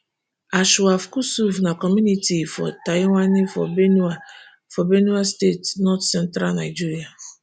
anshav kusuv na community for tyowanye for benue for benue state north central nigeria